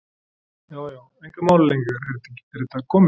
Já já, engar málalengingar, er þetta komið?